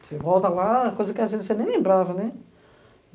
Você volta lá, coisa que as vezes você nem lembrava, né?